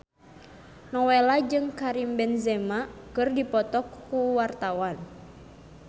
Nowela jeung Karim Benzema keur dipoto ku wartawan